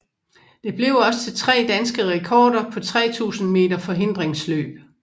Det blev også til tre danske rekorder på 3000 meter forhindringsløb